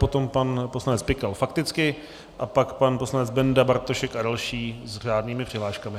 Potom pan poslanec Pikal fakticky a pak pan poslanec Benda, Bartošek a další s řádnými přihláškami.